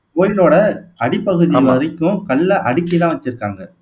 கோயிவிலோட அடிப்பகுதி வரைக்கும் கல்ல அடுக்கித்தான் வச்சிருக்காங்க